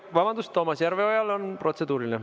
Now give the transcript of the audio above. Vabandust, Toomas Järveojal on protseduuriline.